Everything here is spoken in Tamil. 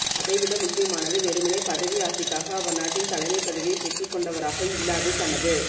அதைவிட முக்கியமானது வெறுமனே பதவி ஆசைக்காக அவர் நாட்டின் தலைமைப் பதவியைப் பெற்றுக் கொண்டவராக இல்லாது தனது